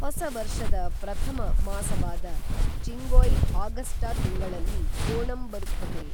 ಹೊಸ ವರ್ಷದ ಪ್ರಥಮ ಮಾಸವಾದ ಚಿಂಗೊಯ್ ಆಗಸ್ಟ ತಿಂಗಳಲ್ಲಿ ಓಣಂ ಬರುತ್ತದೆ